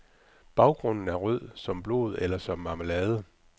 Baggrunden er rød, som blod eller som marmelade.